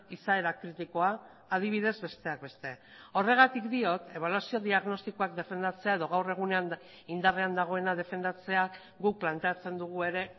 izaera kritikoa adibidez besteak beste horregatik diot ebaluazio diagnostikoak defendatzea edo gaur egunean indarrean dagoena defendatzeak guk planteatzen dugu ere